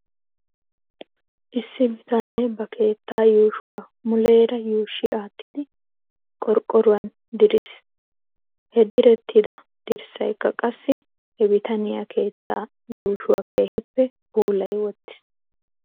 Issi bitanee ba keettaa yuushuwaa muleera yuushshi aattidi qorqqoruwan diris. He direttida dirssaykka qassi he bitaniyaa keettaa yuushuwaa keehippe puulay wottiis.